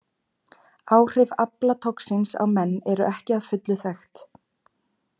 Áhrif aflatoxíns á menn eru ekki að fullu þekkt.